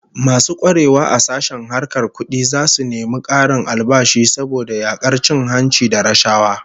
Masu kwarewa a sashen harkar kudi zasu nemi karin albashi saboda yakar cin hanci da rashawa